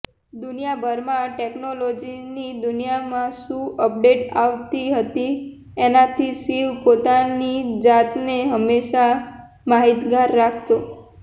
દુનિયાભરમાં ટેકનોલોજીની દુનિયામાં શું અપડેટ આવતી હતી એનાંથી શિવ પોતાની જાતને હંમેશા માહિતગાર રાખતો